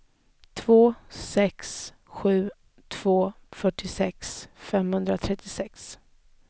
två sex sju två fyrtiosex femhundratrettiosex